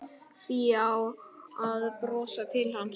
Fía að brosa til hans.